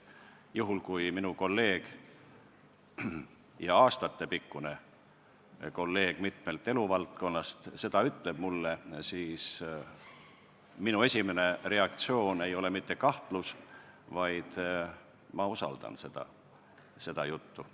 Juhul kui minu kolleeg – aastatepikkune kolleeg mitmest eluvaldkonnast – seda mulle ütleb, siis minu esimene reaktsioon ei ole mitte kahtlus, vaid ma usaldan seda juttu.